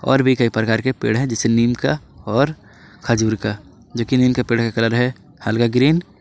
और भी कई प्रकार के पेड़ है जैसे नीम का और खजूर का लेकिन इनके पेड़ का कलर है हल्का ग्रीन ।